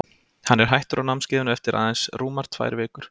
Hann er hættur á námskeiðinu eftir að aðeins rúmar tvær vikur.